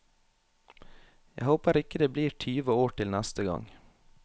Jeg håper ikke det blir tyve år til neste gang.